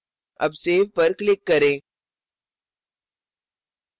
अब save पर click करें